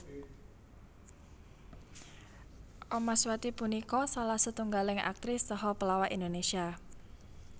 Omaswati punika salah setunggaling aktris saha pelawak Indonésia